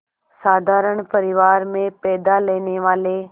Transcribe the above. साधारण परिवार में पैदा लेने वाले